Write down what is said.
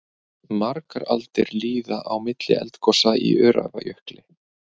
Margar aldir líða á milli eldgosa í Öræfajökli.